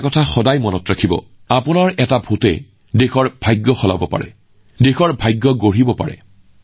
আপুনি সদায় মনত ৰখা উচিত যে আপোনাৰ এটা ভোটে দেশৰ ভাগ্য সলনি কৰিব পাৰে দেশৰ ভাগ্য গঢ়িব পাৰে